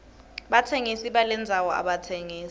batsengisi balendzano abatsengisi